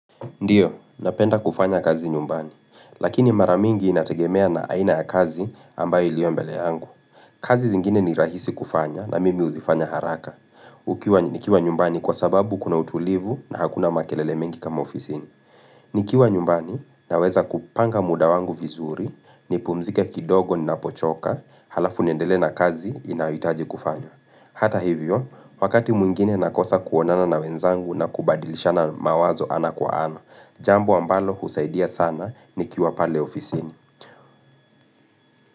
Ndio, napenda kufanya kazi nyumbani, lakini mara mingi inategemea na aina ya kazi ambayo ilio mbele yangu. Kazi zingine ni rahisi kufanya na mimi huzifanya haraka. Ukiwa nikiwa nyumbani kwa sababu kuna utulivu na hakuna makelele mingi kama ofisini. Nikiwa nyumbani naweza kupanga muda wangu vizuri, nipumzika kidogo ninapochoka, halafu nendele na kazi inayohitaji kufanya. Hata hivyo, wakati mwingine nakosa kuonana na wenzangu na kubadilishana mawazo ana kwa ana. Jambo ambalo husaidia sana nikiwa pale ofisini.